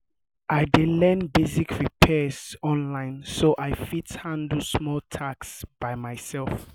i dey learn basic repairs online so i fit handle small tasks by myself.